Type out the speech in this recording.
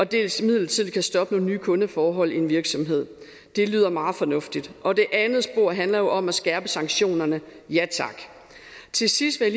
dels midlertidigt kan stoppe nogle nye kundeforhold i en virksomhed det lyder meget fornuftigt og det andet spor handler jo om at skærpe sanktionerne ja tak til sidst vil